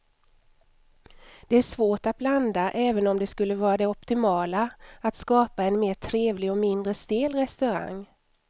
Det är svårt att blanda även om det skulle vara det optimala att skapa en mer trevlig och mindre stel restaurang.